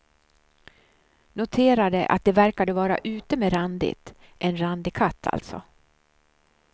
Noterade att det verkade vara ute med randigt, en randig katt alltså.